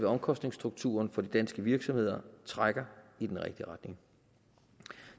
omkostningsstrukturen for de danske virksomheder trækker i den rigtige retning